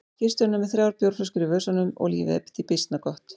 Skipstjórinn er með þrjár bjórflöskur í vösunum og lífið því býsna gott.